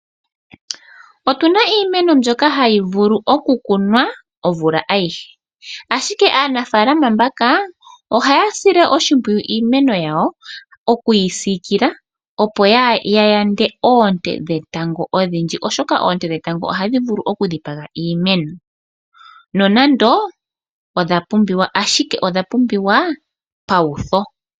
Otu na iimeno mbyoka hayi vulu okukunwa omvula ayihe . Ashike aanafalama mbaka ohaya sile oshimpwiyu iimeno yawo okuyi siikila, opo ya yande oonte dhetango odhindji, oshoka oonte dhetango ohadhi vulu okudhipaga iimeno. Nonando odha pumbiwa ashike odha pumbiwa pawutho.